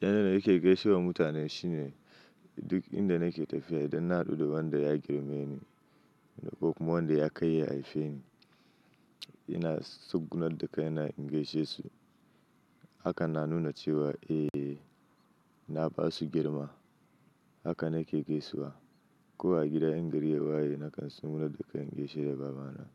Yanda nake gaishe wa mutane shine duk inda nake tafiya idan na haɗu da wanda ya girme ni ko kuma wanda ya kai ya haife ni, ina tsugunar da kai na in gaishe su. Haka na nuna cewa eh, na ba su girma. Haka nake gaisuwa. Ko a gida in gari ya waye nakan tsugunar da kai in gaishe da baba na.